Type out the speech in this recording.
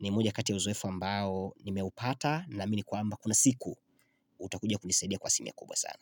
ni moja kati ya uzoefu ambao nimeupata na mi ni kwamba kuna siku utakujia kunisadia kwa simia kubwa sana.